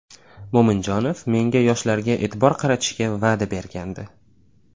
Mo‘minjonov menga yoshlarga e’tibor qaratishga va’da bergandi.